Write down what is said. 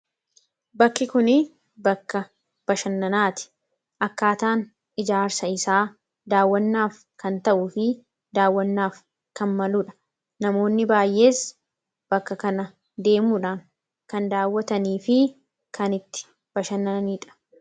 bakki kun bakka bashannanaati akkaataan ijaarsa isaa daawwannaaf kan ta'u fi daawwannaaf kan maluudha namoonni baayees bakka kana deemuudhaan kan daawwatanii fi kanitti bashannaniidha